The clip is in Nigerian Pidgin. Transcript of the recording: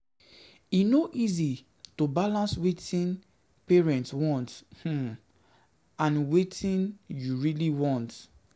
E no easy to balance wetin parents want um and wetin you really um want.